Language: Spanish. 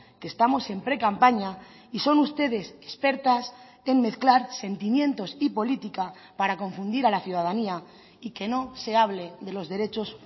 que estamos en precampaña y son ustedes expertas en mezclar sentimientos y política para confundir a la ciudadanía y que no se hable de los derechos